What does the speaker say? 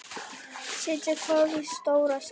Setjið hveitið í stóra skál.